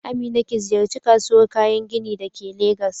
Amina ki ziyarci kasuwar kayan gini da ke Legas